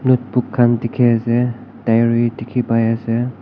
notebook khan dikhi ase diary dikhi pai ase.